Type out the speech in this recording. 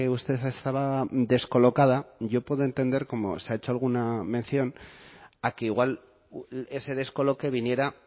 usted estaba descolocada yo puedo entender como se ha hecho alguna mención a que igual ese descoloque viniera